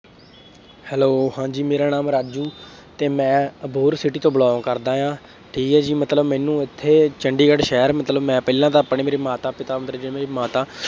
Hello ਹਾਂਜੀ ਮੇਰਾ ਨਾਮ ਰਾਜੂ ਅਤੇ ਮੈਂ ਅਬੋਹਰ city ਤੋਂ belong ਕਰਦਾ ਹਾ। ਠੀਕ ਹੈ ਜੀ। ਮਤਲਬ ਮੈਨੂੰ ਇੱਥੇ ਚੰਡੀਗੜ੍ਹ ਸ਼ਹਿਰ ਮਤਲਬ ਮੈਂ ਪਹਿਲਾਂ ਤਾ ਆਪਣੇ ਮੇਰੇ ਮਾਤਾ ਪਿਤਾ, ਮੇਰੇ ਮਾਤਾ